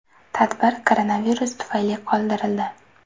Tadbir koronavirus tufayli qoldirildi .